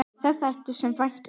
Það þætti mér vænt um